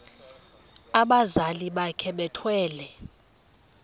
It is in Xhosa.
abazali bakhe bethwele